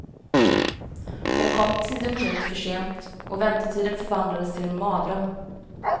Hon kom tio minuter för sent, och väntetiden förvandlades till en mardröm.